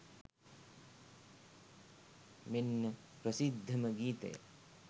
මෙන්න ප්‍රසිද්ධම ගීතය